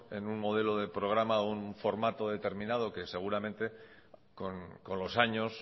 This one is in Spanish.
en un modelo de programa o un formato determinado que seguramente con los años